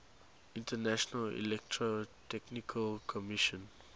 international electrotechnical commission